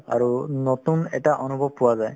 আৰু নতুন এটা অনুভৱ পোৱা যায়